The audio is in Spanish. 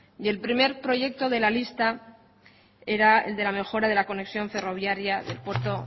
y el primer proyecto de la lista era el de la mejora de la conexión ferroviaria del puerto